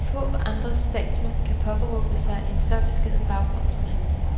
Få andre statsmænd kan påberåbe sig en så beskeden baggrund som hans.